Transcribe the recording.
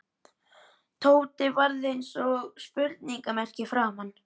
Tóti varð eins og spurningarmerki í framan.